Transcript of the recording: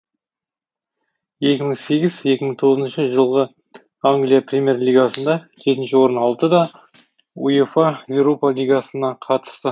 екі мың сегіз екі мың тоғызыншы жылғы англия премьер лигасында жетінші орын алды да уефа еуропа лигасына қатысты